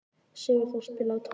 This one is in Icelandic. Sigurþór, spilaðu tónlist.